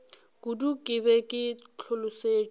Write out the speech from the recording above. kudu ke be ke hlolosetšwe